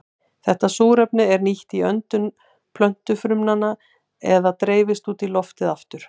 Þetta súrefni er nýtt í öndun plöntufrumna eða dreifist út í loftið aftur.